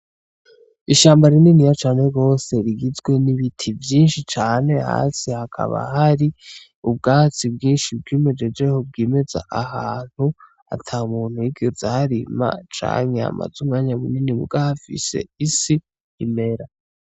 Ishamba rininiya cane gose rigizwe n'ibiti vyishi cane hasi hakaba hari ubwatsi bwishi bwimejejeho bwimeza ahantu atamuntu yigeze aharima canke hamaze umwanya mu nini muga hafise isi imera.